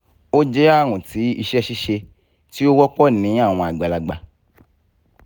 o jẹ arun ti iṣẹ-ṣiṣe ti o wọpọ ni awọn agbalagba